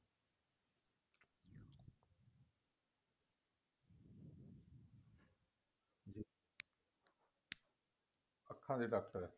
ਅੱਖਾਂ ਦੇ ਡਾਕਟਰ ਏ